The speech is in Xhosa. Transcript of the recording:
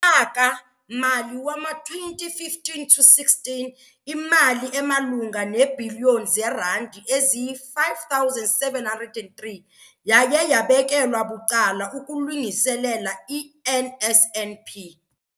Ngonyaka-mali wama-2015 to 16, imali emalunga neebhiliyoni zeerandi eziyi-5 703 yaye yabekelwa bucala ukulungiselela i-NSNP.